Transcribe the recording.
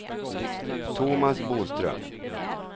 Tomas Boström